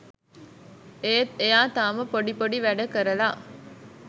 ඒත් එයා තාම පොඩි පොඩි වැඩ කරලා